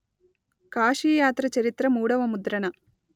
కాశీయాత్ర చరిత్ర మూడవ ముద్రణ